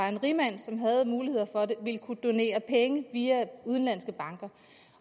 en rigmand som havde mulighed for det ikke ville kunne donere penge via udenlandske banker